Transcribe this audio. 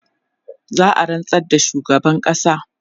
za'a rantsar da shugaban ƙasa